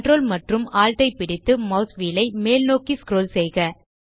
ctrl மற்றும் alt ஐ பிடித்து மாஸ் வீல் ஐ மேல்நோக்கி ஸ்க்ரோல் செய்க